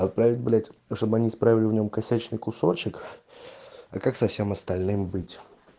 отправить блять чтобы они исправили в нем косячный кусочек а как со всем остальным быть